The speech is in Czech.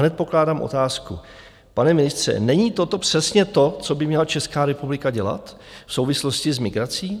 Hned pokládám otázku: Pane ministře, není toto přesně to, co by měla Česká republika dělat v souvislosti s migrací?